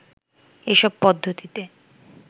এসব পদ্ধতিতে